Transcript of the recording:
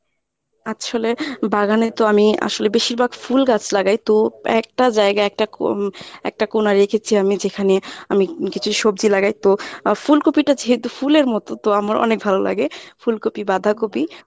আচ্ছলে বাগানে তো আমি আসলে বেশিরভাগ ফুল গাছ লাগাই তো একটা জায়গা একটা কু একটা কোণা রেখেছি আমি যেখানে আমি কিছু সবজি লাগাই তো আমার ফুলকপিটা যেহেতু ফুলের মত তো আমার অনেক ভালো লাগে ফুলকপি বাঁধাকপি।